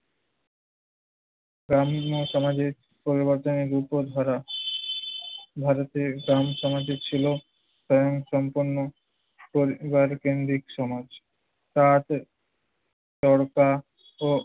গ্রাম্য সমাজের পরিবর্তনের দ্রুত ধারা ভারতের গ্রাম সমাজে ছিল স্বয়ংসম্পন্ন পরিবারকেন্দ্রিক সমাজ। তাঁত, চরকা ও